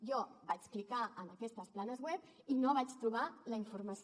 jo vaig clicar en aquestes planes web i no vaig trobar la informació